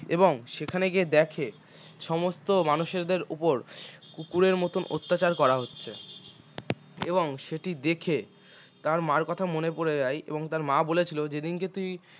এবং সেখানে গিয়ে দেখে সমস্ত মানুষদের উপর কুকুরের মতো অত্যাচার করা হচ্ছে এবং সেটি দেখে তার মা এর কথা মনে পড়ে যায় এবং তার মা বলেছিল যেদিনকে তুই